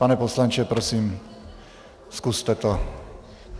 Pane poslanče, prosím zkuste to.